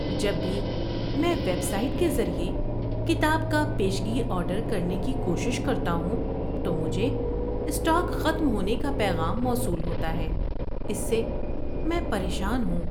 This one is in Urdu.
جب بھی میں ویب سائٹ کے ذریعے کتاب کا پیشگی آرڈر کرنے کی کوشش کرتا ہوں تو مجھے اسٹاک ختم ہونے کا پیغام موصول ہوتا ہے، اس سے میں پریشان ہوں۔